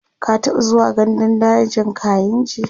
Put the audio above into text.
ka taɓa zuwa gandun dajin kainji?